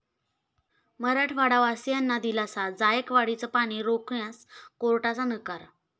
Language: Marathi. मराठवाडावासियांना दिलासा, जायकवाडीचं पाणी रोखण्यास कोर्टाचा नकार